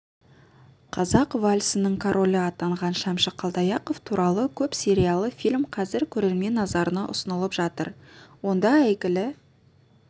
қазақ вальсінің королі атанған шәмші қалдаяқов туралы көп сериялы фильм қазір көрермен назарына ұсынылып жатыр ондаәйгілі